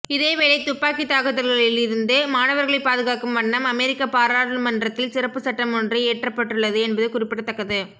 இதேவேளை துப்பாக்கி தாக்குதல்களில் இருந்து மாணவர்களை பாதுகாக்கும் வண்ணம் அமெரிக்க பாராளுமன்றத்தில் சிறப்பு சட்டம் ஒன்று இயற்றப்பட்டுள்ளது என்பது குறிப்பிடத்தக்கது